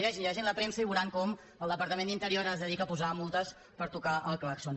llegeixin llegeixin la premsa i veuran com el departament d’interior es dedica a posar multes per tocar el clàxon